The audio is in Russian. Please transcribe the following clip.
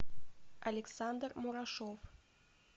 александр мурашов